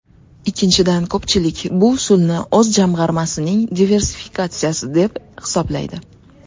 Ikkinchidan, ko‘pchilik bu usulni o‘z jamg‘armasining diversifikatsiyasi deb hisoblaydi.